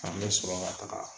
An bɛ sɔrɔ ka taga